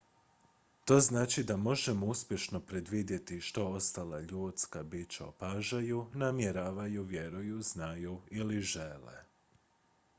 to znači da možemo uspješno predvidjeti što ostala ljudska bića opažaju namjeravaju vjeruju znaju ili žele